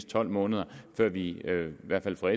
tolv måneder før vi i hvert fald fra